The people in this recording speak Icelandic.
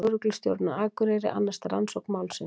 Lögreglustjórinn á Akureyri annast rannsókn málsins